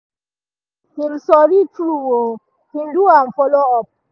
him sorry true um him do am follow up